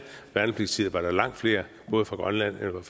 værnepligtstid var langt flere både fra grønland og